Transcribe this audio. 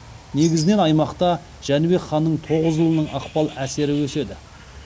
негізінен аймақта жәнібек ханның тоғыз ұлының ықпал әсері өседі